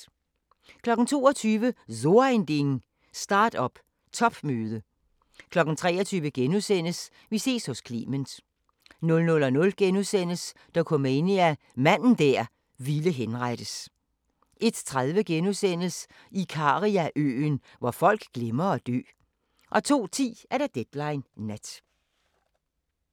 22:00: So Ein Ding: Start-up topmøde 23:00: Vi ses hos Clement * 00:00: Dokumania: Manden der ville henrettes * 01:30: Ikariaøen – hvor folk glemmer at dø * 02:10: Deadline Nat